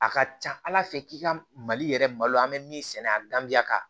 A ka ca ala fɛ k'i ka mali yɛrɛ malo an bɛ min sɛnɛ a ganbiya kan